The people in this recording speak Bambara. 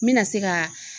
N bɛna se ka